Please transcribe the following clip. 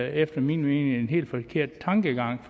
jo efter min mening en helt forkert tankegang